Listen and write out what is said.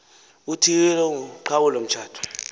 uthiyile uqhawulo mtshato